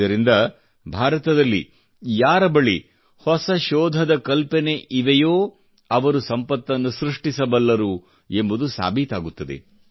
ಇದರಿಂದ ಭಾರತದಲ್ಲಿ ಯಾರ ಬಳಿ ಹೊಸ ಶೋಧದ ಕಲ್ಪನೆಗಳಿವೆಯೋ ಅವರು ಸಂಪತ್ತನ್ನು ಸೃಷ್ಟಿಸಬಲ್ಲರು ಎಂಬುದು ಸಾಬೀತಾಗುತ್ತದೆ